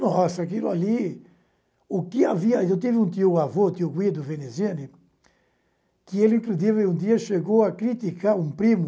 Nossa, aquilo ali... o que havia eu tive um tioavô, tio Guido Veneziane, que um dia chegou a criticar um primo,